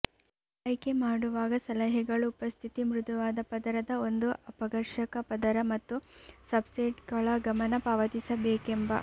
ಆಯ್ಕೆ ಮಾಡುವಾಗ ಸಲಹೆಗಳು ಉಪಸ್ಥಿತಿ ಮೃದುವಾದ ಪದರದ ಒಂದು ಅಪಘರ್ಷಕ ಪದರ ಮತ್ತು ಸಬ್ಸ್ಟ್ರೇಟ್ಗಳ ಗಮನ ಪಾವತಿಸಬೇಕೆಂಬ